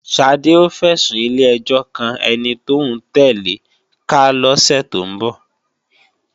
Ṣadé ó fẹ̀sùn ilé-ẹjọ́ kan ẹni tóún tẹ̀le ká lọ́sẹ̀ tó ń bọ̀